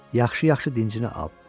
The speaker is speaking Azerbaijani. yaxşı-yaxşı dincini al.